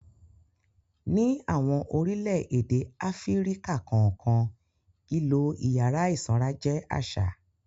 Ní àwọn orílẹ̀-èdè ilẹ̀ Áfíríkà kọ̀ọ̀kan, ìlò ìyàrá ìsanra jẹ́ àṣà.